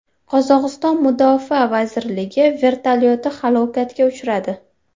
Qozog‘iston mudofaa vazirligi vertolyoti halokatga uchradi.